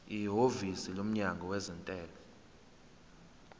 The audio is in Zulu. ihhovisi lomnyango wezentela